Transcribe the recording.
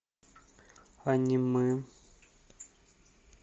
аниме